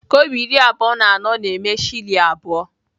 Kobo iri abụọ na anọ na-eme shilling abụọ.